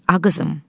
A qızım.